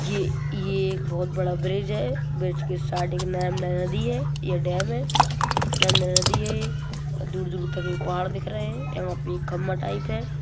ये ये एक बहोत बड़ा ब्रिज है। ब्रिज की । ये डेम है। । दूर-दूर तक में पहाड़ दिख रहे हैं। यहाँ पे एक खंबा टाइप है।